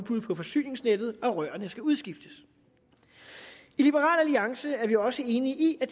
på forsyningsnettet og rørene skal udskiftes i liberal alliance er vi også enige i at